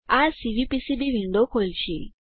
આ CVPCB window ખોલશે